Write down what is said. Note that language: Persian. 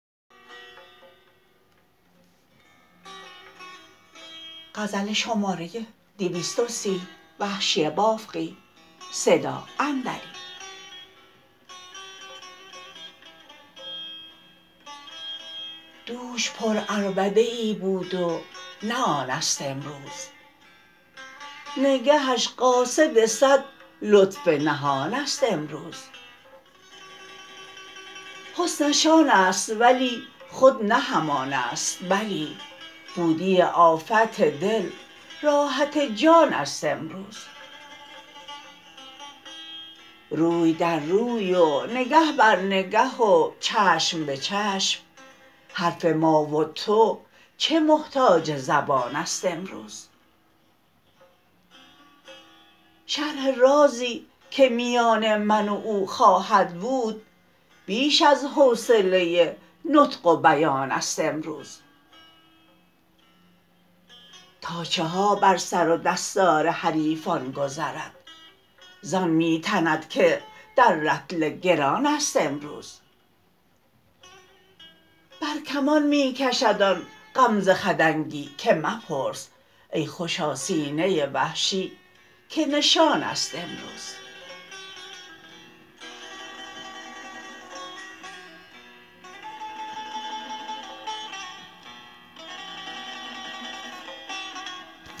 دوش پر عربده ای بود و نه آنست امروز نگهش قاصد سد لطف نهانست امروز حسنش آنست ولی خود نه همانست بلی بود دی آفت دل راحت جانست امروز روی در روی و نگه بر نگه و چشم به چشم حرف ما و تو چه محتاج زبانست امروز شرح رازی که میان من و او خواهد بود بیش از حوصله نطق و بیانست امروز تا چه ها بر سر و دستار حریفان گذرد زان می تند که در رطل گرانست امروز بر کمان می کشد آن غمزه خدنگی که مپرس ای خوشا سینه وحشی که نشانست امروز